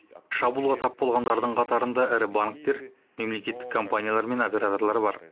шабуылға тап болғандардың қатарында ірі банктер мемлекеттік компаниялар мен операторлар бар